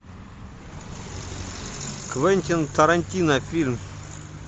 квентин тарантино фильм